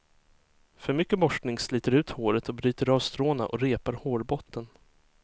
För mycket borstning sliter ut håret och bryter av stråna och repar hårbotten.